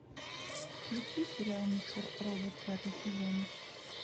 включи сериал мистер робот пятый сезон